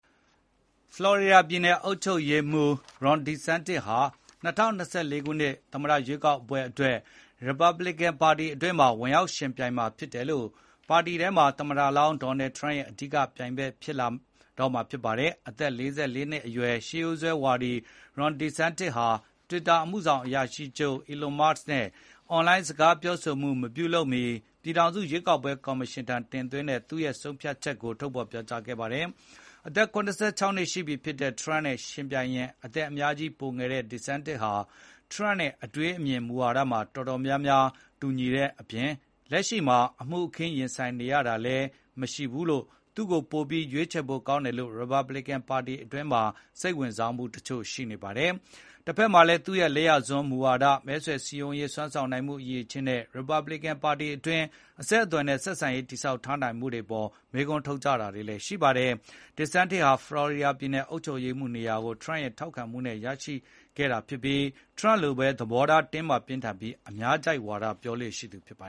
ဖလော်ရီဒါပြည်နယ်အုပ်ချုပ်ရေးမှူး Ron DeSantis က ၂၀၂၄ ခုနှစ် သမ္မတရွေးကောက်ပွဲအတွက် ရီပတ်ဘလီကန်ပါတီတွင်းမှာ ဝင်ရောက်ယှဉ်ပြိုင်မှာဖြစ်တဲ့အတွက် ပါတီထဲမှာ သမ္မတဟောင်း ဒေါ်နယ်ထရမ့်ရဲ့ အဓိက ပြိုင်ဘက် ဖြစ်လာပါတော့မယ်။ အသက် ၄၄ နှစ် အရွယ် ရှေးရိုးစွဲဝါဒီ Ron DeSantis ဟာ တွစ်တာ အမှုဆောင်အရာရှိချုပ် အီလွန်မာ့စ်နဲ့ အွန်လိုင်းစကားပြောဆိုမှုမပြုလုပ်မီ ပြည်ထောင်စု ရွေးကောက်ပွဲကော်မရှင်ထံ တင်သွင်းတဲ့သူ့ ရဲ့ဆုံးဖြတ်ချက်ကို ထုတ်ဖော်ပြောကြားခဲ့တာပါ။ အသက် ၇၆ နှစ် ရှိပြီ ဖြစ်တဲ့ ထရမ့်နဲ့ ယှဉ်ရင် အသက်အများကြီး ပိုငယ်တဲ့ DeSantis ဟာ ထရမ့်နဲ့ အတွေးအမြင်၊ မူဝါဒမှာ အတော်များများ ထပ်တူညီတဲ့အပြင် လက်ရှိမှာအမှုအခင်းရင်ဆိုင်နေရတာလည်း မရှိတဲ့အတွက် သူ့ကို ပိုပြီး ရွေးချယ်ဖို့ ကောင်းတယ်ဆိုပြီး ရီပတ်ဘလီကန်ပါတီတွင်းမှာ စိတ်ဝင်စားမှု တချို့ ရှိပါတယ်။ တဖက်မှာလည်းသူ့ရဲ့ လက်ယာစွန်းမူဝါဒတွေ၊ မဲဆွယ်စည်းရုံးရေးစွမ်းဆာင်နိုင်ရည်နဲ့ ရီပတ်ဘလီကန် ပါတီတွင်း အဆက်အသွယ်နဲ့ ဆက်ဆံရေး တည်ဆောက်ထားနိုင်မှု အပေါ် မေးခွန်းထုတ်ကြတာတွေလည်းရှိပါတယ်။ DeSantis ဟာ ဖလော်ရီဒါပြည်နယ်အုပ်ချုပ်ရေးမှူး နေရာကို ထရမ့်ရဲ့ ထောက်ခံပေးမှုနဲ့ ရယူနိုင်ခဲ့တာ ဖြစ်ပြီးထရမ့်လိုပဲ သဘောထားတင်းမာပြင်းထန်ပြီး အများကြိုက်ဝါဒ ပြောဆိုလေ့ရှိသူပါ